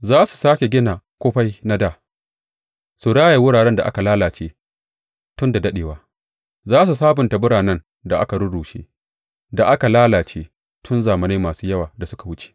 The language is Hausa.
Za su sāke gina kufai na dā su raya wurare da aka lalace tun da daɗewa; za su sabunta biranen da aka rurrushe da aka lalace tun zamanai masu yawa da suka wuce.